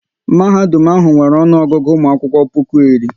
Mahadum ahụ nwere ọnụ Ọgụgụ ụmụ akwụkwọ puku iri